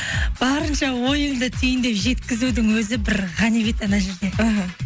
барынша ойыңды түйіндеп жеткізудің өзі бір ғанибет ана жерде іхі